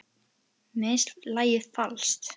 Mér finnst lagið falskt.